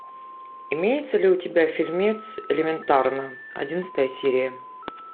имеется ли у тебя фильмец элементарно одиннадцатая серия